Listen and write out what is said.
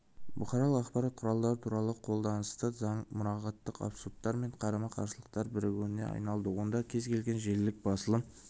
бұқаралық ақпарат құралдары туралы қолданыстағы заң мұрағаттық абсурдтар мен қарама-қарсылықтардың бірігуіне айналды онда кез-келген желілік басылым